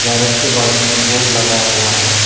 के बाजू में बोर्ड लगा हुआ है।